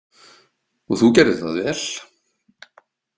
Og þú gerðir það vel.